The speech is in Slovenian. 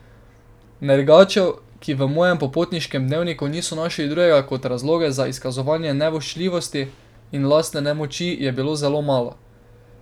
Nergačev, ki v mojem popotniškem dnevniku niso našli drugega kot razloge za izkazovanje nevoščljivosti in lastne nemoči, je bilo zelo malo.